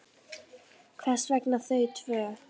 Hvers vegna þau tvö?